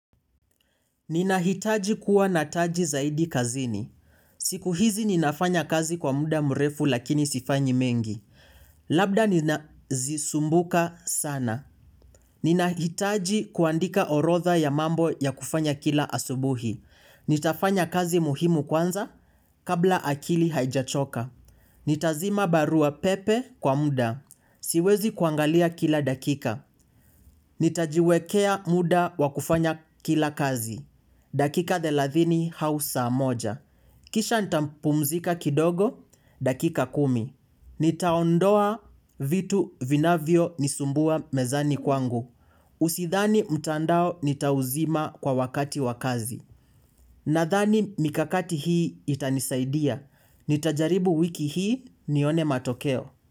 Ninahitaji kuwa nataji zaidi kazini. Siku hizi ninafanya kazi kwa muda mrefu lakini sifanyi mengi. Labda nina zisumbuka sana. Ninahitaji kuandika orodha ya mambo ya kufanya kila asubuhi. Nitafanya kazi muhimu kwanza kabla akili haijachoka. Nitazima barua pepe kwa muda. Siwezi kuangalia kila dakika. Nitajiwekea muda wakufanya kila kazi. Dakika thelathini au saa moja. Kisha nitampumzika kidogo. Dakika kumi. Nitaondoa vitu vinavyo nisumbua mezani kwangu. Usidhani mtandao nitauzima kwa wakati wakazi. Nadhani mikakati hii itanisaidia. Nitajaribu wiki hii nione matokeo.